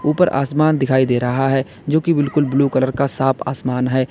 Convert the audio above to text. ऊपर आसमान दिखाई दे रहा है जो कि बिल्कुल ब्ल्यू कलर का साफ आसमान है।